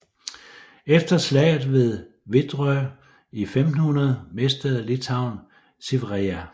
Efter slaget ved Vedrosj i 1500 mistede Litauen Siverija